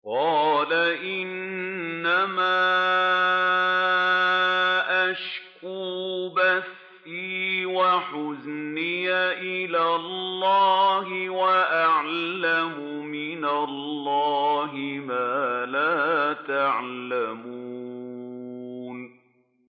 قَالَ إِنَّمَا أَشْكُو بَثِّي وَحُزْنِي إِلَى اللَّهِ وَأَعْلَمُ مِنَ اللَّهِ مَا لَا تَعْلَمُونَ